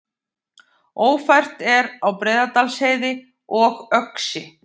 Ófært er á Breiðdalsheiði og Öxi